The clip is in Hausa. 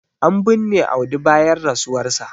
an binne Audi bayan rasuwarsa